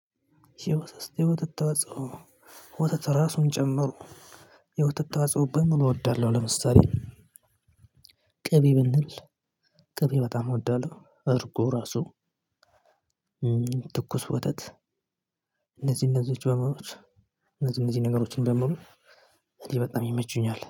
የወተት የወተት ተዋጽኦ ወተት ራሱን ጨመሮ የወተት ተዋጽኦ በምን እወዳለሁ። ለምሳሌ ቅቤ ብንል ቅቤ በጣም እወዳለሁ። እርጎ ራሱ ትኩስ ወተት። እነዚህ እነዚህ ነገሮችን ጀምሮ እኔ በጣም ይመቹኛል